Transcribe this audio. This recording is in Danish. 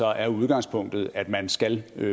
er udgangspunktet at man skal